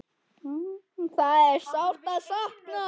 Það er sárt að sakna.